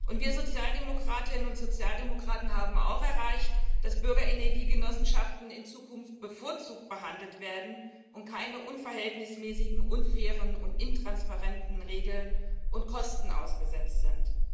Und wir Sozialdemokratinnen und Sozialdemokraten haben auch erreicht, dass Bürgerenergiegenossenschaften in Zukunft bevorzugt behandelt werden und keinen unverhältnismäßigen, unfairen und intransparenten Regeln und Kosten ausgesetzt sind.